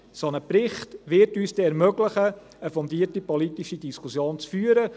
Ein solcher Bericht wird uns dann ermöglichen, eine fundierte politische Diskussion zu führen.